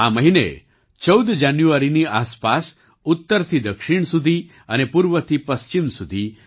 આ મહિને 14 જાન્યુઆરીની આસપાસ ઉત્તરથી દક્ષિણ સુધી અને પૂર્વથી પશ્ચિમ સુધી